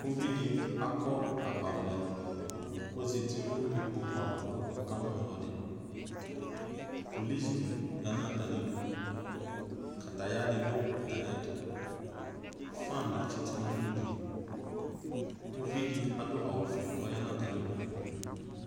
uvi di akɔ agbavlɛ ublɔ k'ozati n'ikpoku ava k'ɔka mu no ɔlò ɛdi polisi di ya n'atami du kataya di do atami ɛto fan di tsito no ugli uvi di adu awu fue k'ɔya n'atami du